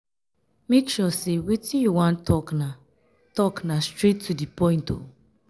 make sure sey wetin you wan tok na tok na straight to di point o.